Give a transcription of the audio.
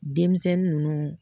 Denmisɛnnin ninnu